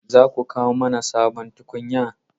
Za ku kawo mana sabon tukunya?